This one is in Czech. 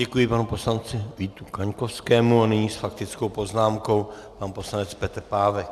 Děkuji panu poslanci Vítu Kaňkovskému a nyní s faktickou poznámkou pan poslanec Petr Pávek.